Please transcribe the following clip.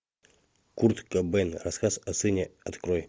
курт кобейн рассказ о сыне открой